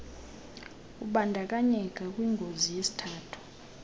ubandakanyeka kwingozi yesithuthi